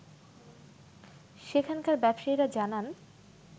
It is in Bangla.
সেখানকার ব্যবসায়ীরা জানান